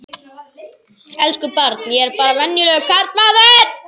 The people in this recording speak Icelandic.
Elsku barn, ég er bara venjulegur karlmaður.